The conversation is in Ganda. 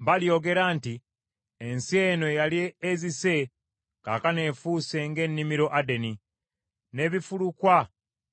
Balyogera nti, “Ensi eno eyali ezise, kaakano efuuse ng’ennimiro Adeni, n’ebifulukwa